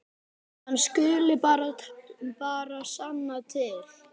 Hann skuli bara sanna til.